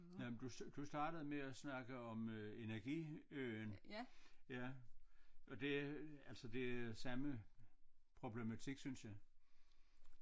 Nej men du du startede med at snakke om øh Energiøen ja og det altså det er samme problematik synes jeg